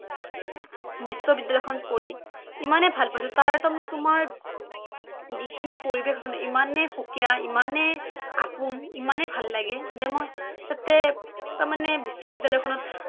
বিশ্ববিদ্যালয়খনত পঢ়ি ইমানেই ভাল পাইছোঁ তাৰ তাৰমানে তোমাৰ যিখিনি পৰিৱেশ ইমানেই সুকীয়া ইমানেই আপোন ইমানেই ভাল লাগিল যে মই তাতে তাৰমানে বিশ্ববিদ্যালয় খনত